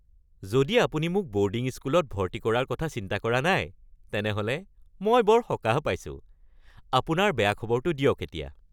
যদি আপুনি মোক ব’ৰ্ডিং স্কুলত ভৰ্তি কৰাৰ কথা চিন্তা কৰা নাই, তেনেহ’লে মই বৰ সকাহ পাইছোঁ। আপোনাৰ বেয়া খবৰটো দিয়ক এতিয়া। (পুত্ৰ)